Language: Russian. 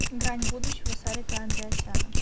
грань будущего сарика андреасяна